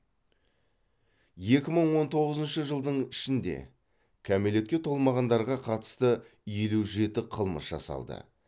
екі мың он тоғызыншы жылдың ішінде кәмелетке толмағандарға қатысты елу жеті қылмыс жасалды